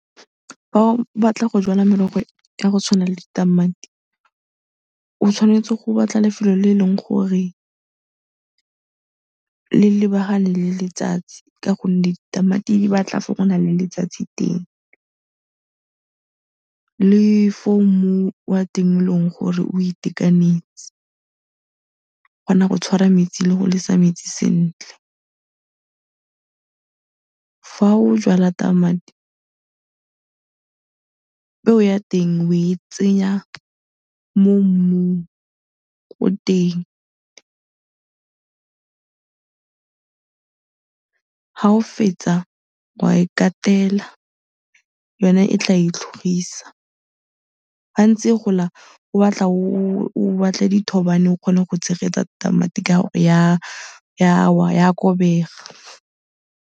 Fa o batla go jala merogo ya go tshwana le ditamati, o tshwanetse go batla lefelo le eleng gore le lebagane le letsatsi ka gonne ditamati di batla fo go nang le letsatsi teng le fo mmu wa teng e leng gore o itekanetse, o kgona go tshwara metsi le go lesa metsi sentle. Fa o jwala tamati, peo ya teng o e tsenya mo mmung ko teng, fa o fetsa o a e katela, yone e tla e itlhogisa. Fa e ntse e gola, go batla o batle dithobane o kgone go tshegetsa tamati ka e a wa, e a kobega.